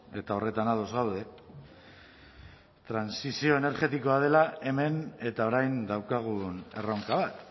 eta horretan ados gaude trantsizio energetikoa dela hemen eta orain daukagun erronka bat